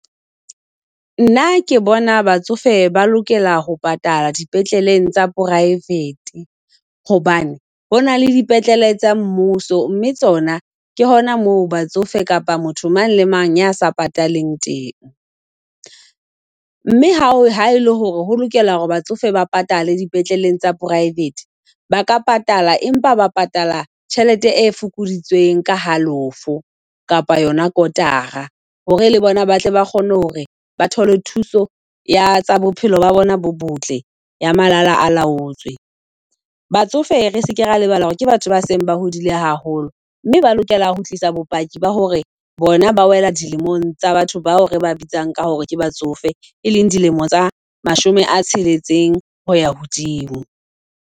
Nna ke bona batsofe ba lokela ho patala dipetleleng tsa private. Hobane hona le dipetlele tsa mmuso, mme tsona ke hona moo batsofe kapa motho mang le mang ya sa pataleng teng. Mme ha ha ele hore ho lokela hore batsofe ba patale di petleleng tsa private, ba ka patala empa ba patala tjhelete e fokoditsweng ka halofo kapa yona kotara. Hore le bona ba tle ba kgone hore ba thole thuso ya tsa bophelo ba bona bo botle ya malala a laotswe. Batsofe re seke ra lebala hore ke batho ba seng ba hodile haholo. Mme ba lokela ho tlisa bopaki ba hore bona ba wela dilemong tsa batho bao re ba bitsang ka hore ke batsofe, e leng dilemo tsa mashome a tsheletseng hoya hodimo.